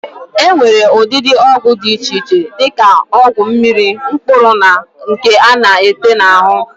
E nwere ụdịdị ọgwụ di iche iche di ka ọgwụ mmiri, mkpụrụ na nke a na-ete n'ahụ.